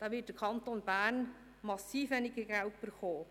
Da wird der Kanton Bern massiv weniger Geld bekommen.